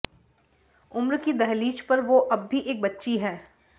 उम्र की दहलीज पर वो अब भी एक बच्ची है